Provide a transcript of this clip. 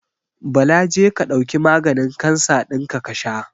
Bala je ka ɗauki maganin kansa dinka kasha.